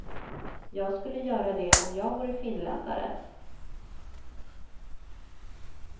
Jag skulle göra det om jag vore finländare.